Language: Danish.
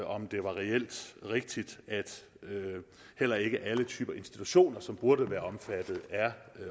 om det var reelt rigtigt at heller ikke alle typer institutioner som burde være omfattet er